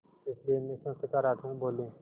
इसलिए हमेशा सकारात्मक बोलें